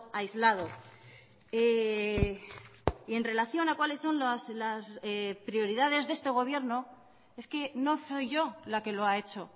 aislado y en relación a cuáles son las prioridades de este gobierno es que no soy yo la que lo ha hecho